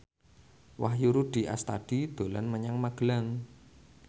Wahyu Rudi Astadi dolan menyang Magelang